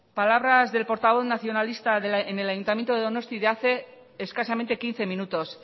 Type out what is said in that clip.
palabras del portavoz nacionalista en el ayuntamiento de donosti de hace escasamente quince minutos